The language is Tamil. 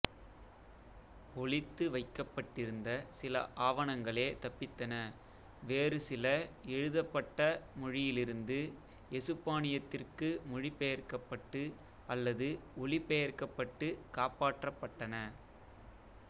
ஒளித்து வைக்கப்பட்டிருந்த சில ஆவணங்களே தப்பித்தன வேறுசில எழுதப்பட்ட மொழியிலிருந்து எசுப்பானியத்திற்கு மொழிபெயர்க்கப்பட்டு அல்லது ஒலிபெயர்க்கப்பட்டு காப்பாற்றப்பட்டன